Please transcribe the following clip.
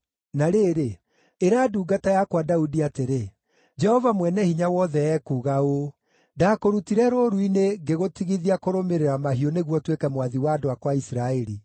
“Na rĩrĩ, ĩra ndungata yakwa Daudi atĩrĩ, ‘Jehova Mwene-Hinya-Wothe ekuuga ũũ: Ndaakũrutire rũũru-inĩ ngĩgũtigithia kũrũmĩrĩra mahiũ nĩguo ũtuĩke mwathi wa andũ akwa a Isiraeli.